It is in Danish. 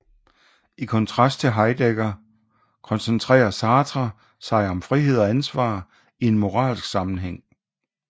I kontrast til Heidegger koncentrerer Sartre sig om frihed og ansvar i en moralsk sammenhæng